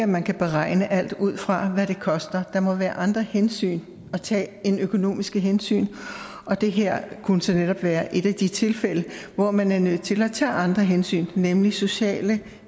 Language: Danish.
man kan beregne alt ud fra hvad det koster der må være andre hensyn at tage end økonomiske hensyn og det her kunne så netop være et af de tilfælde hvor man er nødt til at tage andre hensyn nemlig sociale